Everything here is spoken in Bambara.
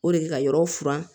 O de bɛ ka yɔrɔ furan